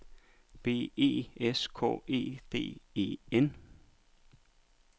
B E S K E D E N